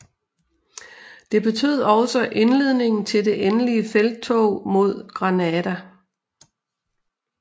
Det betød også indledningen til det endelige felttog mod Granada